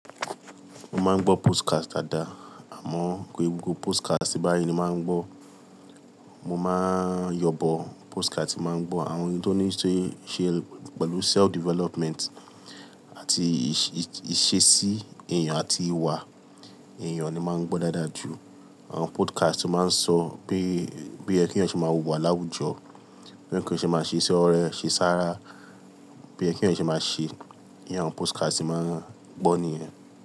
Mo máa ń gbọ́ podcast dáadáa, àmọ́ kò ń ṣe gbogbo podcast tí ń bári ni màá ń gbọ́. Mo máa ń yanbọ podcast, tí mo màá ń gbọ́ àwọn ohun tó níí ṣe pẹ̀lú self development àti ìṣesí èèyàn àti ìwà èèyàn ni màá ń gbọ́ dáadáa jù. Àwọn podcast tó máa ń sọ pé, pé kí o ṣe máa wùwà láwùjọ, bí èèyàn ṣe máa ṣe sí, ọ̀rẹ́, ṣe sára, bí ó ṣe yẹ kí èèyàn ṣe máa ṣe. Írú àwọn podcast tí màá ń gbọ́ nìyẹn.